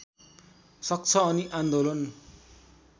सक्छ अनि आन्दोलन